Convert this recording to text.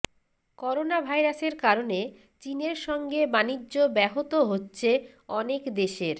করোনাভাইরাসের কারণে চীনের সঙ্গে বাণিজ্য ব্যহত হচ্ছে অনেক দেশের